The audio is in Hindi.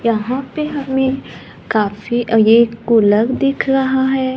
यहां पे हमें काफी अ एक दिख रहा है।